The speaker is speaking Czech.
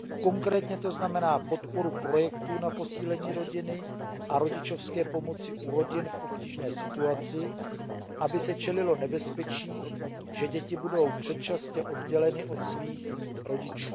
Konkrétně to znamená podporu projektů na posílení rodiny a rodičovské pomoci u rodin v obtížné situaci, aby se čelilo nebezpečí, že děti budou předčasně odděleny od svých rodičů.